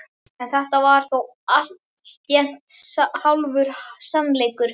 En þetta var þó alltént hálfur sannleikur.